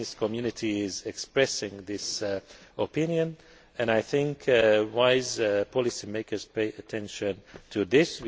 The business community is expressing this opinion, and I think wise policy makers will pay attention to this.